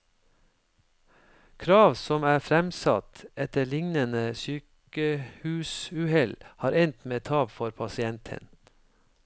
Krav som er fremsatt etter lignende sykehusuhell, har endt med tap for pasienten.